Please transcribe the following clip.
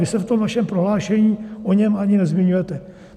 Vy se v tom vašem prohlášení o něm ani nezmiňujete.